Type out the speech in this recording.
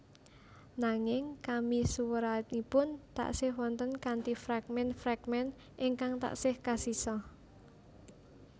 Nanging kamisuwuranipun tasih wonten kanthi fragmen fragmen ingkang tasih kasisa